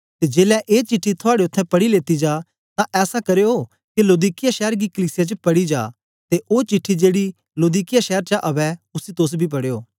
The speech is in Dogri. ते जेलै ए चिट्ठी थुआड़े उत्थें पढ़ी लेती जा तां ऐसा करयो के लौदीकिया शैर दी कलीसिया च पढ़ी जा ते ओ चिट्ठी जेड़ी लौदीकिया शैर चा अवै उसी तोस बी पढ़यो